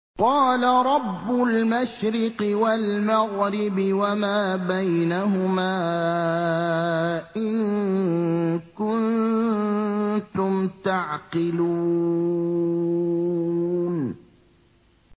قَالَ رَبُّ الْمَشْرِقِ وَالْمَغْرِبِ وَمَا بَيْنَهُمَا ۖ إِن كُنتُمْ تَعْقِلُونَ